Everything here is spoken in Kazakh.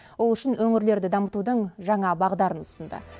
ол үшін өңірлерді дамытудың жаңа бағдарын ұсынды